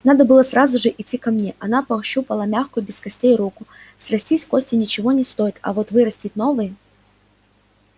надо было сразу же идти ко мне она пощупала мягкую без костей руку срастить кости ничего не стоит а вот вырастить новые